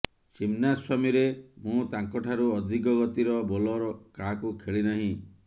ଚିନ୍ନାସ୍ବାମୀରେ ମୁଁ ତାଙ୍କଠାରୁ ଅଧିକ ଗତିର ବୋଲର କାହାକୁ ଖେଳି ନାହିଁ